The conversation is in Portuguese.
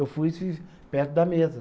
Eu fui e fiz perto da mesa.